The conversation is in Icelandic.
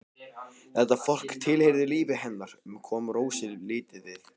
Þetta fólk tilheyrði lífi hennar en kom Rósu lítið við.